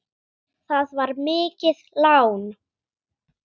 Það var mikið lán.